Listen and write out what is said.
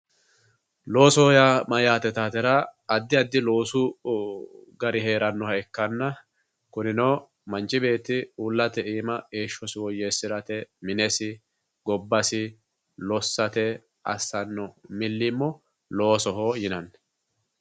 Loosoho yaa mayate yitatera addi addi loosu gari heeranoha ikkanna kunino manchi beetti uullate iima heeshshosi woyyeesirate minesi gobbasi lossate assano milimo loosoho yinnanni.